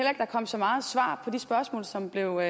at der kom så meget svar på de spørgsmål som blev